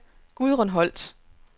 Gudrun Holt